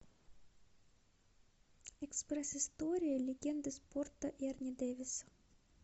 экспресс история легенды спорта эрни дэвиса